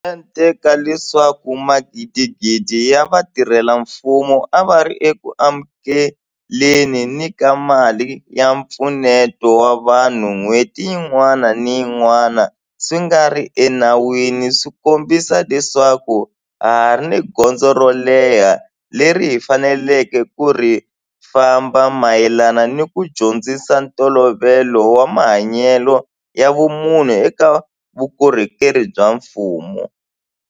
Mente ka leswaku magidigidi ya vatirhela mfumo a va ri eku amukele ni ka mali ya mpfuneto wa vanhu n'hweti yin'wana ni yin'wana swi nga ri enawini swi kombisa leswaku ha ha ri ni gondzo ro leha leri hi faneleke ku ri famba mayelana ni ku dyondzisa ntolovelo wa mahanyelo ya vumunhu eka vukorhokeri bya mfumo.